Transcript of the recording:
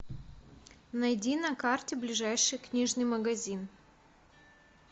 найди на карте ближайший книжный магазин